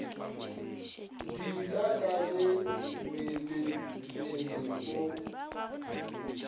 diela ka ge meelemmele o